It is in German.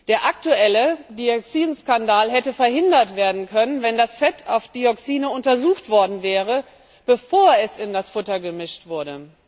Der aktuelle Dioxin Skandal hätte verhindert werden können, wenn das Fett auf Dioxine untersucht worden wäre, bevor es in das Futter gemischt wurde.